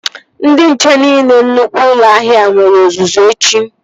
Ndị nche niile nnukwu ụlọ ahịa a nwere ọzụzụ echi